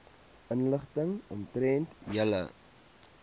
inligting omtrent julle